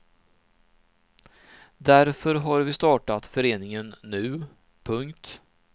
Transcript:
Därför har vi startat föreningen nu. punkt